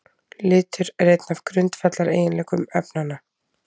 Litur er einn af grundvallareiginleikum efnanna.